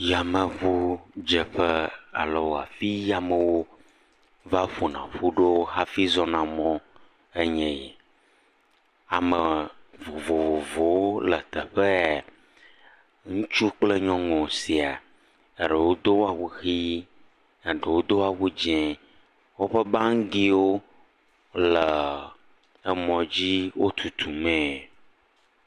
Yameŋudzeƒe alo afi yi amewo va ƒona ƒu ɖo hafi zɔna mɔ anye yi. Ame vovovowo le teƒe ye, ŋutsu kple nyɔnu siaa, eɖewo do awu ʋi eɖewo do awu dzɛ, woƒe bagiwo le amɔdzi wotutu mee.